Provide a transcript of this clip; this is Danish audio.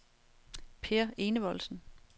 Peer Enevoldsen